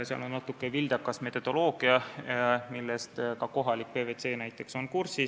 Seal on natuke vildakas metodoloogia, millega ka kohalik PwC kursis on.